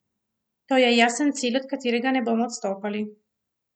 To je jasen cilj, od katerega ne bomo odstopali.